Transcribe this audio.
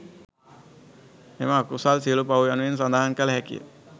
මෙම අකුසල් සියලු පව් යනුවෙන් සඳහන් කළ හැකිය.